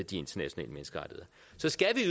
de internationale menneskerettigheder så skal